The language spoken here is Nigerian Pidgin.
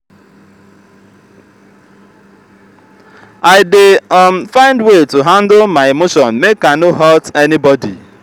i dey um find way to handle my emotion make i no hurt anybodi.